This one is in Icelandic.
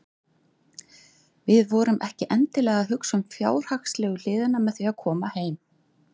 Við vorum ekkert endilega að hugsa um fjárhagslegu hliðina með því að koma heim.